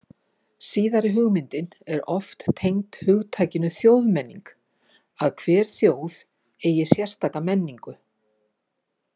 Síðari hugmyndin er oft tengd hugtakinu þjóðmenning, að hver þjóð eigi sérstaka menningu.